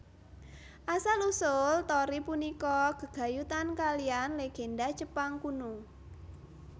Asal usul torii punika gegayutan kalihan legènda Jepang kuno